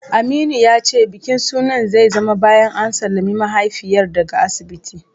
Aminu ya ce bikin sunan zai zama bayan an sallami mahaifiyar daga asibiti.